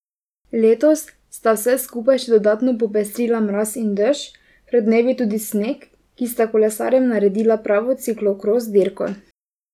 Letos sta vse skupaj še dodatno popestrila mraz in dež, pred dnevi tudi sneg, ki sta kolesarjem naredila pravo ciklokros dirko.